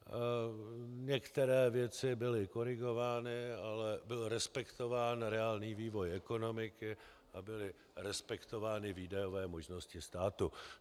Některé věci byly korigovány, ale byl respektován reálný vývoj ekonomiky a byly respektovány výdajové možnosti státu.